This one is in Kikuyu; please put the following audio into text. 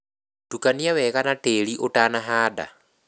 Tukania wega na tĩri ũtanahanda